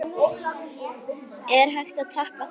Er hægt að toppa það?